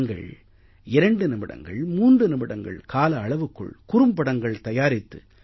நீங்கள் 2 நிமிடங்கள் 3 நிமிடங்கள் கால அளவுக்குள் குறும்படங்கள் தயாரித்து